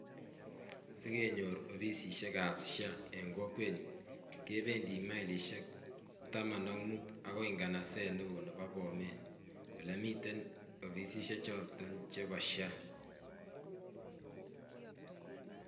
Sikeyor offisisiek ab SHA en kokwenyun kependii milelishek taman ak mut akoi inganaset neo nebo bomet olemiten offisisiek choton chebo SHA.